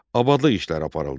Abadlıq işləri aparıldı.